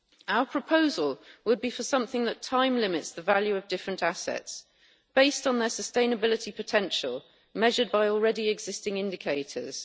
Our proposal would be for something that time limits the value of different assets, based on their sustainability potential measured by already existing indicators.